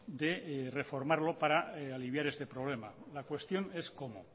de reformarlo para aliviar este problema la cuestión es cómo